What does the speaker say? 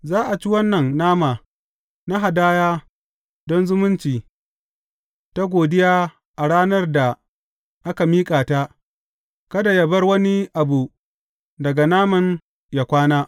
Za a ci wannan nama na hadaya don zumunci ta godiya a ranar da aka miƙa ta, kada yă bar wani abu daga naman yă kwana.